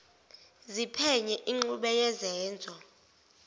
ziphenye ingxube yezenzo